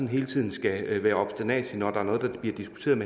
hele tiden skal være obsternasig når der bliver diskuteret